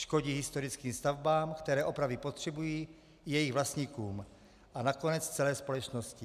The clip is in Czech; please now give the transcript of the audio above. Škodí historickým stavbám, které opravy potřebují, i jejich vlastníkům a nakonec celé společnosti.